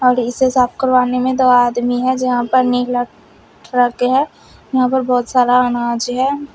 इसे साफ करवाने में दो आदमी है जहां पर नीला ट्रक है यहां पर बहुत सारा अनाज है।